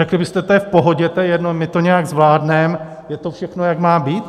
Řekli byste "to je v pohodě, to je jedno, my to nějak zvládneme, je to všechno, jak má být"?